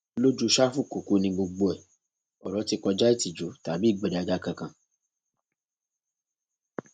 lójú sáfù kúkú ni gbogbo ẹ ọrọ ti kọjá ìtìjú tàbí ìgbéraga kankan